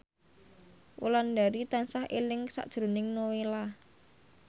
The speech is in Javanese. Wulandari tansah eling sakjroning Nowela